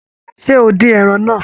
Ṣé o dín ẹran náà?